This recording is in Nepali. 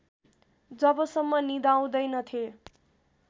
जबसम्म निदाउँदैनथेँ